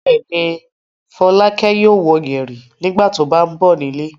Bẹ́ẹ̀ ni, Fọlákẹ́ yóò wọ yẹ̀rì nígbà tó bá ń bọ̀ nílé.